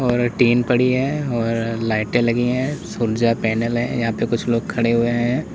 और टिन पड़ी है और लाइटे लगी है सूर्य ऊर्जा पैनल है यहां पे कुछ लोग खड़े हुए हैं।